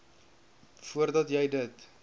voordat jy dit